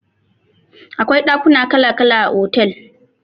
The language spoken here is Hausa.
Akwai dakuna kala kala a otel